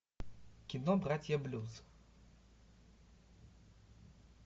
кино братья блюз